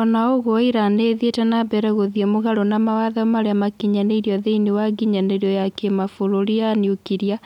"Ona ũgũo Iran niithiite nambere guthie mugaro na mawatho maria makinyanirio thiinie wa nginyanirio ya kimabũrũri ya nuklia,